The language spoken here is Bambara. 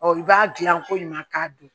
i b'a dilan ko ɲuman k'a dun